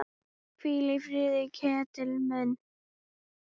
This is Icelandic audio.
Hvíldu í friði, Ketill minn.